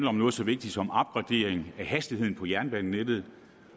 om noget så vigtigt som en af hastigheden på jernbanenettet